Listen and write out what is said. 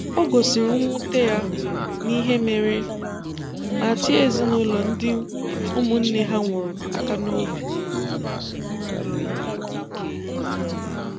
O gosiri nwute ya n'ihe mere, ma tie ezinụlọ ndị ụmụnne ha nwụrụ aka n'obi.